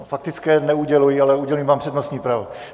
Faktické neuděluji, ale udělím vám přednostní právo.